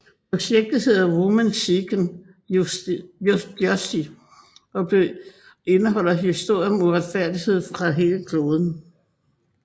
Projektet hedder Women Seeking Justice og vil indeholde historier om uretfærdighed fra hele kloden